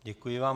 Děkuji vám.